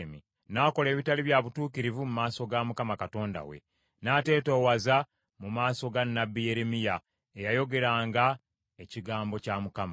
N’akola ebitali bya butuukirivu mu maaso ga Mukama Katonda we, n’ateetoowaza mu maaso ga nnabbi Yeremiya, eyayogeranga ekigambo kya Mukama .